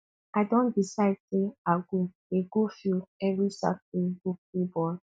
i don decide sey i go dey go field every saturday go play ball